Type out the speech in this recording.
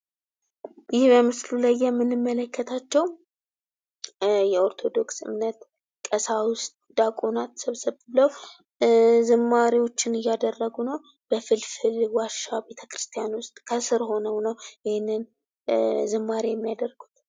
ይህ በምስሉ ላይ የምንመለከታቸው የኦርቶዶክስ እምነት ቀሳውስት ዲያቆናት ሰብሰብ ብለው ዝማሬዎችን እያደረጉ ነው። በፍልፍል ዋሻ ቤተክርስቲያን ውስጥ ከስር ሁነው ነው ይህንን ዝማሬ የሚያደርጉ።